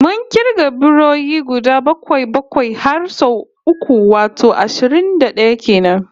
Mun kirga biroyi guda bakwai-bakwai har sau uku, wato ashirin da d'aya kenan